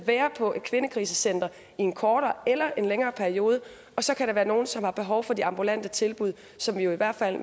være på et kvindekrisecenter i en kortere eller længere periode og så kan der være nogle som har behov for de ambulante tilbud som jo i hvert fald